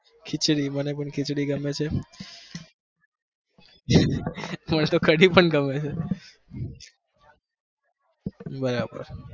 ખીચડી મને પણ ખીચડી ગમે છે, મને તો કઢી પણ ગમે છે. બરાબર